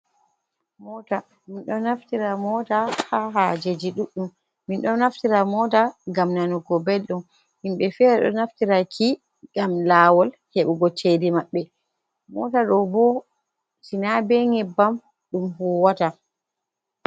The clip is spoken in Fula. Mota min ɗo naftira mota ha hajeji ɗuɗɗum, min ɗo naftira moda ngam nanugo ɓeldum, himɓɓe fere ɗo naftira ki ngam lawol heɓugo cede maɓɓe, mota ɗo bo Sina be nyebbam ɗum huwata.